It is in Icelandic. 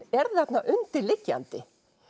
er þarna undir liggjandi